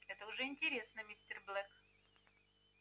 это уже интересно мистер блэк